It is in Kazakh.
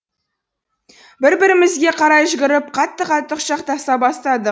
бір бірімізге қарай жүгіріп қатты қатты құшақтаса бастадық